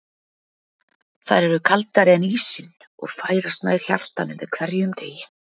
Þær eru kaldari en ísinn, og færast nær hjartanu með hverjum degi.